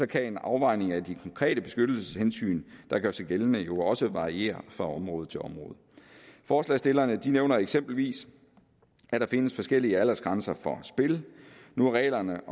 kan en afvejning af de konkrete beskyttelseshensyn der gør sig gældende jo også variere fra område til område forslagsstillerne nævner eksempelvis at der findes forskellige aldersgrænser for spil nu er reglerne